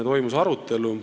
Toimus arutelu.